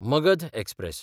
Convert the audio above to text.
Magadha express